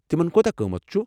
تمن كوتاہ قۭمتھ چُھ؟